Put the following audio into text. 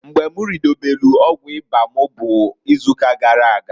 Mgba m ridobelu ọgwụ ịba m bu izuuka gara aga.